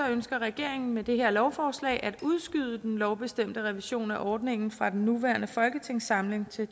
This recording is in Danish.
ønsker regeringen med det her lovforslag at udskyde den lovbestemte revision af ordningen fra den nuværende folketingssamling til